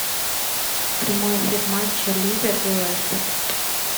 прямой эфир матча ливер и лестер